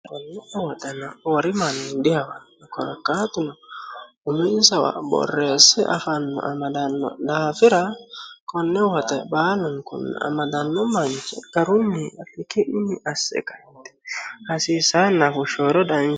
hakkonne woxena wori manni dihawanni korakkaatuna uminsawa borreesse afanno amadanno daafira konne woxe baalunkunni amadanno manche garunni iki'ninni asse qaitti hasiisaanno daafira